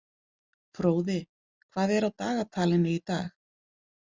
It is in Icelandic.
Fróði, hvað er á dagatalinu í dag?